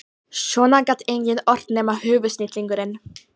Svona gat enginn ort nema höfuðsnillingurinn